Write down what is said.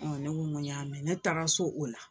Ɔn ne ko ko n y'a mɛn ne taara so o la